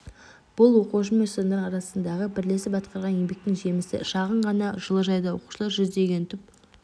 бұл оқушы мен ұстаздардың арасындағы бірлесіп атқарған еңбектің жемісі шағын ғана жылыжайда оқушылар жүздеген түп